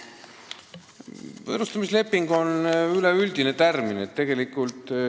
"Võõrustamisleping" on üldine termin.